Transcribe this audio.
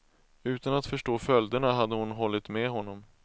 Utan att förstå följderna hade hon hållit med honom.